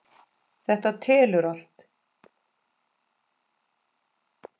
Þetta telur allt.